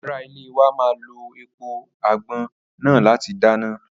ará ilé wa má lo èèpo àgbọn náà láti dáná